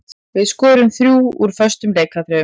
Við skoruðum þrjú úr föstum leikatriðum.